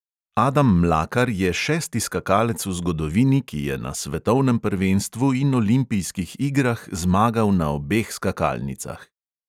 Adam mlakar je šesti skakalec v zgodovini, ki je na svetovnem prvenstvu in olimpijskih igrah zmagal na obeh skakalnicah!